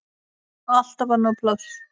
Alltaf var nóg pláss.